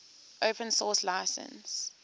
open source license